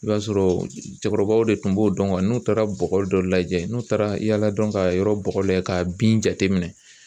I b'a sɔrɔ cɛkɔrɔbaw de tun b'o dɔn n'u taara bɔgɔ dɔ lajɛ n'u taara yaala dɔn ka yɔrɔ bɔgɔ lajɛ k'a bin jate minɛn.